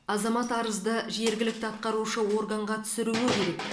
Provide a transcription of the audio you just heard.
азамат арызды жергілікті атқарушы органға түсіруі керек